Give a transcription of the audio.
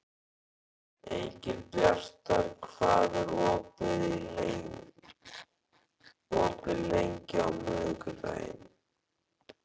Engilbjartur, hvað er opið lengi á miðvikudaginn?